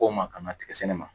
K'o ma ka na tigɛ sɛnɛ ma